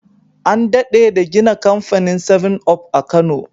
An dade da gina kamfanin seven-up a kano